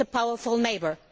It is a powerful neighbour.